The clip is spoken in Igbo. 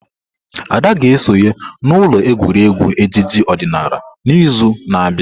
Ada ga-esonye n'ụlọ egwuregwu ejije odinala n'izu na-abịa.